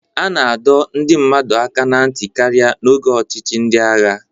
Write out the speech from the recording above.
A na-adọ ndị mmadụ aka ná ntị karịa n'oge ọchịchị ndị agha